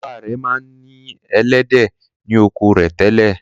Bàbá rẹ̀ ma ń ní “ ẹlẹ́dẹ̀ ” ni oko rẹ̀ tẹ́lẹ̀.